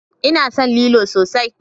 Ina son lilo sosai.